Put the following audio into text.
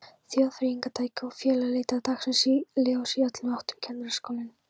Þjóðþrifafyrirtæki og félög líta dagsins ljós í öllum áttum, Kennaraskólinn